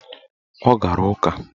Ọ gara ụka